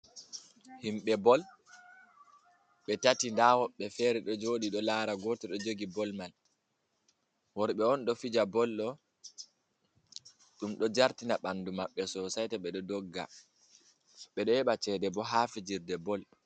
Himbe bol. be tati da woɓbe fere ɗo jodi ɗo lara gotel ɗo jogi bol ma. Worɓe on ɗo fija bol ɗo. Ɗum ɗo jartina banɗu maɓɓe sosai ta beɗo ɗogga. Beɗo heba ceɗe bo ha fijirɗe bol.